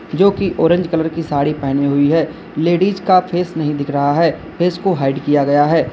जो कि orange colour की साड़ी पहनी हुई है लेडिस का फेस नहीं दिख रहा है फेस को हाईड किया गया है।